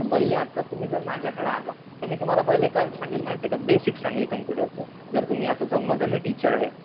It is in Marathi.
तर पहिले आता तुम्ही जर माझ्याकडं आलात तर मी तुम्हाला पहिले काय सांगेल माहितीये का, बेसिक सांगेल कम्पुटरचं. जर तुम्ही असं समजा मी टीचर आहे.